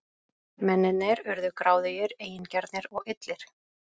Mennirnir urðu gráðugir, eigingjarnir og illir.